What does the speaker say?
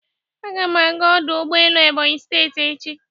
Aga m aga ọdụ ụgbọelu Ebonyi steeti echi